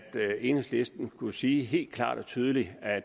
enhedslisten skulle sige helt klart og tydeligt at